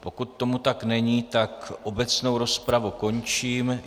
Pokud tomu tak není, tak obecnou rozpravu končím.